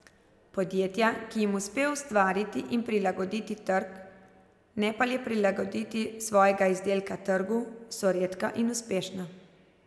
Podjetja, ki jim uspe ustvariti in prilagoditi trg, ne pa le prilagoditi svojega izdelka trgu, so redka in uspešna.